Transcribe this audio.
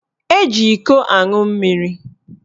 Eji ịkọ aṅụ mmiri.